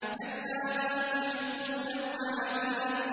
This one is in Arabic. كَلَّا بَلْ تُحِبُّونَ الْعَاجِلَةَ